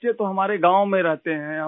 بچے تو ہمارے گاؤں میں رہتے ہیں